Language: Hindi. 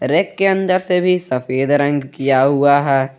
रैक के अंदर से भी सफेद रंग किया हुआ है।